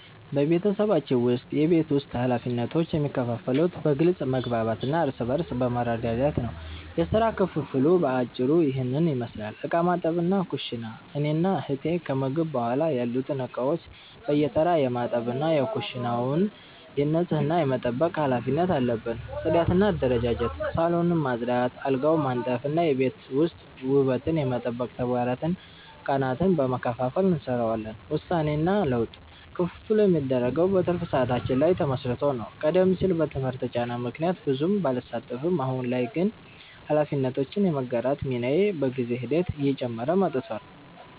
በቤተሰባችን ውስጥ የቤት ውስጥ ኃላፊነቶች የሚከፋፈሉት በግልጽ መግባባት እና እርስ በርስ በመረዳዳት ነው። የሥራ ክፍፍሉ በአጭሩ ይህንን ይመስላል፦ ዕቃ ማጠብና ኩሽና፦ እኔና እህቴ ከምግብ በኋላ ያሉትን ዕቃዎች በየተራ የማጠብ እና የኩሽናውን ንጽህና የመጠበቅ ኃላፊነት አለብን። ጽዳትና አደረጃጀት፦ ሳሎንን ማጽዳት፣ አልጋዎችን ማንጠፍ እና የቤት ውስጥ ውበትን የመጠበቅ ተግባራትን ቀናትን በመከፋፈል እንሰራዋለን። ውሳኔና ለውጥ፦ ክፍፍሉ የሚደረገው በትርፍ ሰዓታችን ላይ ተመስርቶ ነው። ቀደም ሲል በትምህርት ጫና ምክንያት ብዙም ባልሳተፍም፣ አሁን ላይ ግን ኃላፊነቶችን የመጋራት ሚናዬ በጊዜ ሂደት እየጨመረ መጥቷል።